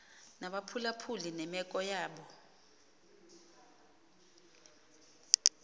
nabaphulaphuli nemeko yabo